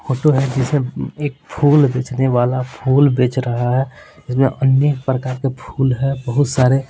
photo है जिसमें एक फूल बेचने वाला फूल बेच रहा है इसमें अन्य प्रकार के फूल है बहुत सारे--